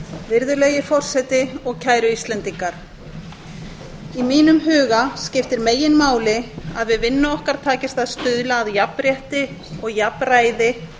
virðulegi forseti og kæru íslendingar í mínum huga skiptir meginmáli að við vinnu okkar takist að stuðla að jafnrétti og jafnræði